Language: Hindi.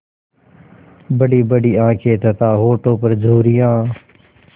बड़ीबड़ी आँखें तथा होठों पर झुर्रियाँ